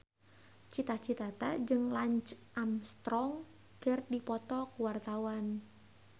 Cita Citata jeung Lance Armstrong keur dipoto ku wartawan